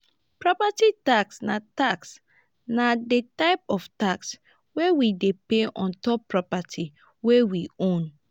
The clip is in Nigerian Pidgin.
property tax na tax na di type of tax wey we dey pay ontop property wey we own